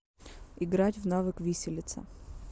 играть в навык виселица